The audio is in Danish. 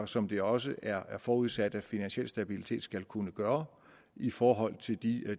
som det også er forudsat at finansiel stabilitet skal kunne gøre i forhold til de